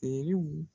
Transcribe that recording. Teriw